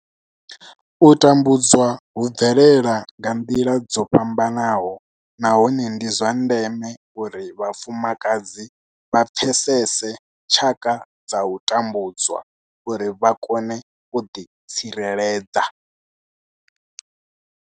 U tambudzwa hu bvelela nga nḓila dzo fhambanaho nahone ndi zwa ndeme uri vhafumakadzi vha pfesese tshaka dza u tambudzwa uri vha kone u ḓi tsireledza.